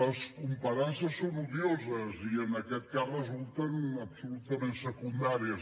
les comparances són odioses i en aquest cas resulten absolutament secundàries